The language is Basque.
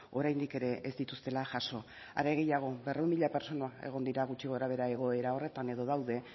oraindik ere ez dituztela jaso are gehiago berrehun mila pertsona egon dira gutxi gorabehera egoera horretan edo daude